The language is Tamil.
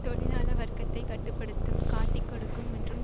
தொழிலாள வர்க்கத்தைக் கட்டு படுத்தும் காட்டிக் கொடுக்கும் மற்றும்